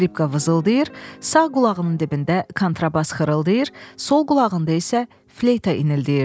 Skripka vızıldayır, sağ qulağının dibində kontrabas xırıldayır, sol qulağında isə fleyta inildəyirdi.